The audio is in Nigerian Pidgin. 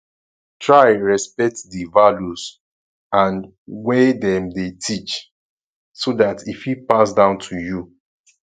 try respect di values and wey dem de teach so that e fit pass down to you